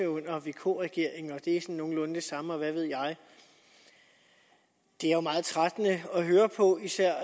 under vk regeringen og at det sådan nogenlunde det samme og hvad ved jeg det er jo meget trættende at høre på især